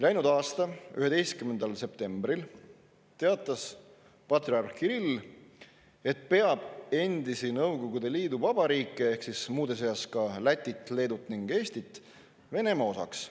Läinud aasta 11. septembril teatas patriarh Kirill, et peab endisi Nõukogude liiduvabariike ehk siis muude seas ka Lätit, Leedut ning Eestit Venemaa osaks.